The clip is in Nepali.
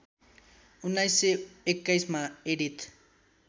१९२१ मा एडिथ